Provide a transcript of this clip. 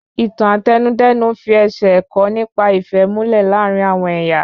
Ìtàn Àtẹnudẹ́nu fi ẹsẹ̀ ẹ̀kọ́ nípa ìfẹ́ múlẹ̀ láàrín àwọn ẹyà